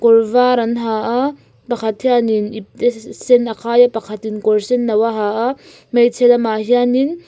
kawrvar an ha a pakhat hianin ipte se sen a khai a pakhat in kawr senno a ha a hmeichhe lamah hianin--